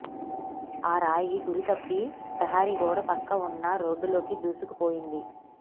ఆరాయి గురితప్పి ప్రహరీ గోడ పక్కన ఉన్న రోడ్డులోనికి దూసుకు పోయింది